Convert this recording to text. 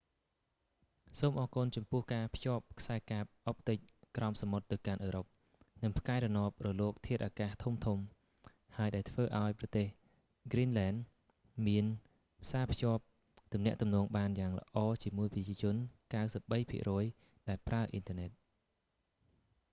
សូមអរគុណចំពោះការភ្ជាប់ខ្សែកាបអុបទិកក្រោមសមុទ្រទៅកាន់អឺរ៉ុប និងផ្កាយរណបរលកធាតុអាកាសធំៗហើយដែលធ្វើឲ្យប្រទេសហ្គ្រីនលែន greenland មានផ្សាភ្ជាប់ទំនាក់ទំនងបានយ៉ាងល្អជាមួយប្រជាជន 93% ដែលប្រើអ៊ីនធើរណិត